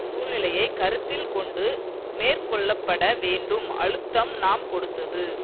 சூழ்நிலையை கருத்தில் கொண்டு மேற்கொள்ள பட வேண்டும் அழுத்தம் நாம் கொடுத்தது